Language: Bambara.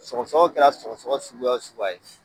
Sɔgɔ sɔgɔ kɛra sɔgɔ sɔgɔ suguya wo suguya ye